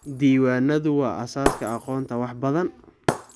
Diiwaanadu waa aasaaska aqoonta wax badan.